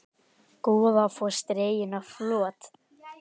Goðafoss dreginn á flot